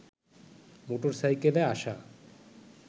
motor সাইকেলে আসা